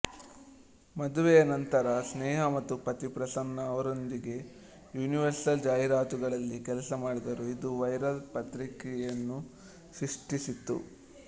ಮದುವೆಯ ನಂತರ ಸ್ನೇಹ ಮತ್ತು ಪತಿ ಪ್ರಸನ್ನ ಅವರೊಂದಿಗೆ ಯೂನಿವರ್ಸೆಲ್ ಜಾಹೀರಾತುಗಳಲ್ಲಿ ಕೆಲಸ ಮಾಡಿದರು ಇದು ವೈರಲ್ ಪ್ರತಿಕ್ರಿಯೆಯನ್ನು ಸೃಷ್ಟಿಸಿತು